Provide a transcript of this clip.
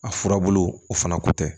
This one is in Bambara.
A furabulu o fana ko tɛ